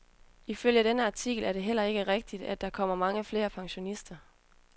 Ifølge denne artikel er det heller ikke rigtigt, at der kommer mange flere pensionister.